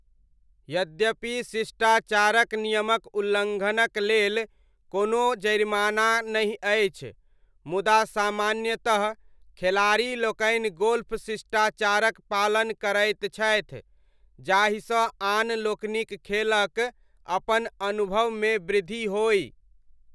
यद्यपि शिष्टाचारक नियमक उल्लङ्घनक लेल कोनो जरिमाना नहि अछि, मुदा सामान्यतः खेलाड़ी लोकनि गोल्फ शिष्टाचारक पालन करैत छथि जाहिसँ आन लोकनिक खेलक अपन अनुभवमे वृद्धि होइ।